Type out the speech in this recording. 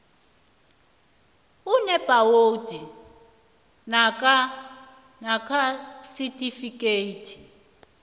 enebhakhowudi namkha isitifikhethi